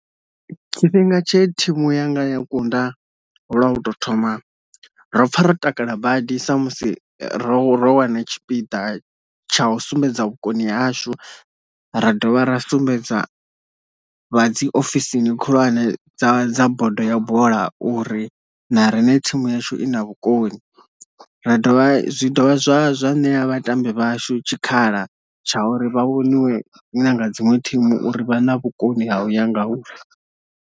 Tshifhinga tshe thimu yanga ya kunda lwa u to thoma ro pfha ro takala badi sa musi ro ro wana tshipiḓa tsha u sumbedza vhukoni hashu ra dovha ra sumbedza vha dzi ofisini khulwane dza dza bodo ya bola uri na riṋe thimu yashu i na vhukoni, ra dovha zwi dovha zwa zwa ṋea vhatambi vhashu tshikhala tsha uri vha vhoniwe nanga dzinwe thimu uri vha na vhukoni ha u ya nga uri.